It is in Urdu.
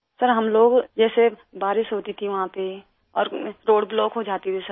سر ہم لوگ جیسے بارش ہوتی تھی وہاں پہ اور روڈ بلاک ہو جاتا تھا